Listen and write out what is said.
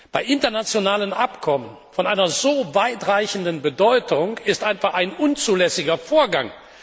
Bei internationalen Abkommen von einer so weitreichenden Bedeutung ist das einfach ein unzulässiger Vorgang.